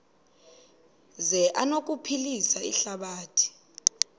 zi anokuphilisa ihlabathi